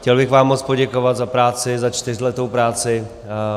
Chtěl bych vám moc poděkovat za práci, za čtyřletou práci.